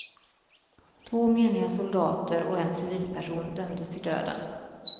Två meniga soldater och en civilperson dömdes till döden.